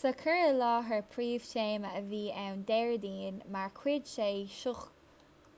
sa chur i láthair príomhthéama a bhí ann déardaoin mar chuid den seó